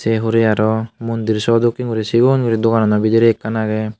sei hurey aro mondir saw dokken guri sigon guri doganano bidirey ekkan agey.